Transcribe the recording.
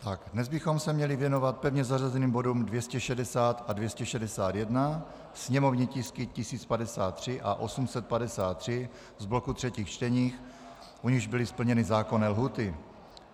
Dnes bychom se měli věnovat pevně zařazeným bodům 260 a 261, sněmovní tisky 1053 a 853 z bloku třetích čtení, u nichž byly splněny zákonné lhůty.